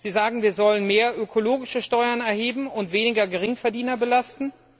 Sie sagen, wir sollen mehr ökologische Steuern erheben und weniger Geringverdiener belasten.